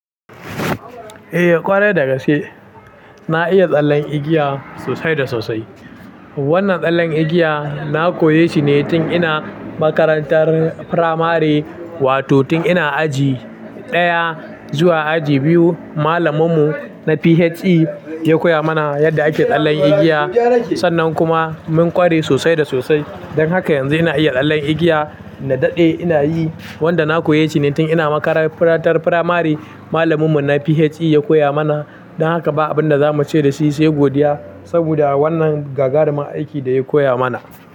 Eh, ƙware da gaske. Na iya tsallen igiya sosai da sosai. Wannan tsallen igiya na koyashi ne tun ina makarantar firamare, wato tun ina aji ɗaya zuwa aji biyu. Malaminmu na PHE ya koya mana yadda ake tsallen igiya. Sannan kuma mun ƙware sosai da sosai. Don haka yanzu ina iya tsallen igiya. Na daɗe ina yi, wanda na koyashi ne tun ina makarantar firamare. Malaminmu na PHE ya koya mana. Don haka ba abin da za mu ce da shi sai godiya, saboda wannan gagarumun aiki da ya koya mana.